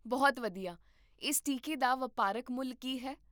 ਬਹੁਤ ਵਧੀਆ, ਇਸ ਟੀਕੇ ਦਾ ਵਪਾਰਕ ਮੁੱਲ ਕੀ ਹੈ?